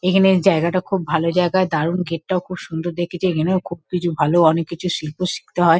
এখানের জায়গাটা খুব ভালো জায়গা দারুন গেট -টাও খুব সুন্দর দেখেছি। এখানেও খুব কিছু ভালো। অনেক কিছু শিল্প শিখতে হয়।